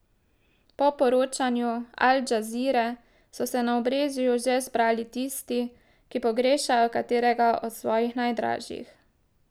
Po poročanju Al Džazire so se na obrežju že zbirali tisti, ki pogrešajo katerega od svojih najdražjih.